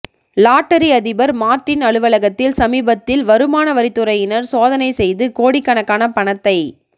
lottery அதிபர் Martin அலுவலகத்தில் சமீபத்தில் வருமான வரித்துறையினர் சோதனை செய்து கோடிக்கணக்கான பணத்தை